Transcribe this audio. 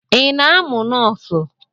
Ị na-amụ nọọsụ?